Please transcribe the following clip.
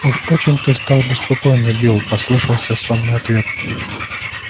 уж очень ты стал беспокойный билл послышался сонный ответ